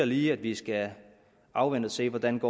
lige at vi skal afvente og se hvordan